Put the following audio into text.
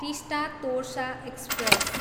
Teesta Torsa express